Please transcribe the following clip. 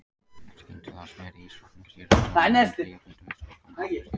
Skyndilega sneri ísdrottningin sér og stormaði inn hliðargötu með skúrkana á eftir sér.